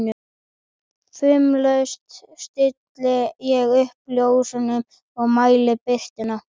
Fumlaust stilli ég upp ljósunum og mæli birtuna.